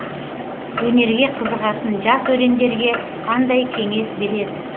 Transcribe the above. өнерге қызығатын жас өрендерге қандай кеңес бересіз